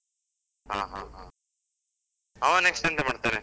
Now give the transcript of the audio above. ಆ ಹಾ ಹಾ, ಅವ next ಎಂತ ಮಾಡ್ತಾನೆ?